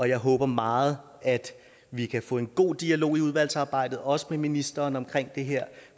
jeg håber meget at vi kan få en god dialog i udvalgsarbejdet også med ministeren omkring det her